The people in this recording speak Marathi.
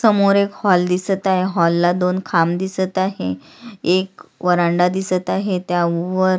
समोर एक हॉल दिसत आहे हॉल ला दोन खांब दिसत आहे एक व्हरांडा दिसत आहे त्यावर--